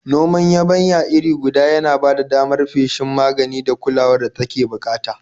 Noman yabanya iri guda ya na ba da damar yin feshin magani da kulawar da take bukata.